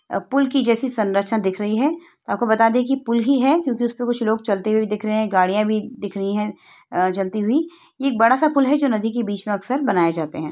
पुल की जैसी संरचना दिख रही है आपको बता दे की पुल ही है क्योंकि कुछ लोग उसके ऊपर चलते हुए दिख रहे हैं गाड़ियां भी दिख रही हैं चलती हुई है एक बड़ा सा पुल है जो कि नदी के बीच में अक्सर बनाए जाते हैं।